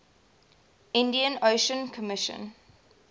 indian ocean commission